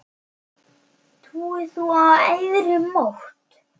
Trúir þú á æðri mátt?